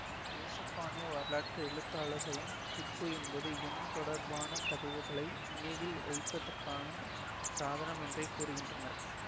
ஏசுப்பானிய வரலாற்று எழுத்தாளர்களும் கிப்பு என்பது எண் தொடர்பான தகவல்களை நினைவில் வைப்பதற்கான சாதனம் என்றே கூறுகின்றனர்